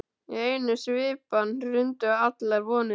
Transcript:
Í einni svipan hrundu allar vonirnar.